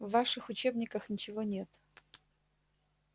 в ваших учебниках ничего нет